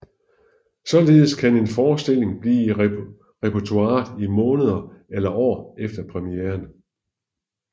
Således kan en forestilling blive i repertoiret i måneder eller år efter premieren